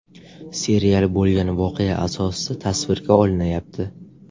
Serial bo‘lgan voqea asosida tasvirga olinayapti.